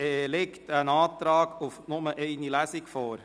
Es liegt ein Antrag auf Durchführung von nur einer Lesung vor.